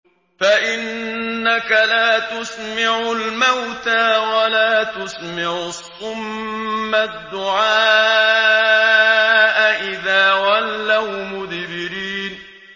فَإِنَّكَ لَا تُسْمِعُ الْمَوْتَىٰ وَلَا تُسْمِعُ الصُّمَّ الدُّعَاءَ إِذَا وَلَّوْا مُدْبِرِينَ